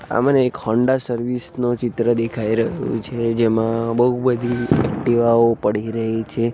આ મને એક હોન્ડા સર્વિસ નો ચિત્ર દેખાય રહ્યું છે જેમાં બૌ બધી એકટીવાઓ પડી રહે છે.